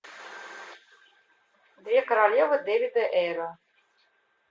две королевы дэвида эйра